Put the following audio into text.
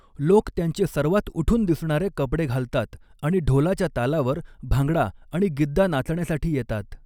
लोक त्यांचे सर्वात उठून दिसणारे कपडे घालतात आणि ढोलाच्या तालावर भांगडा आणि गिद्दा नाचण्यासाठी येतात.